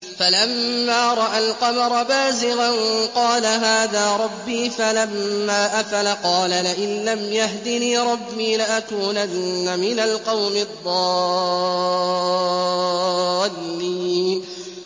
فَلَمَّا رَأَى الْقَمَرَ بَازِغًا قَالَ هَٰذَا رَبِّي ۖ فَلَمَّا أَفَلَ قَالَ لَئِن لَّمْ يَهْدِنِي رَبِّي لَأَكُونَنَّ مِنَ الْقَوْمِ الضَّالِّينَ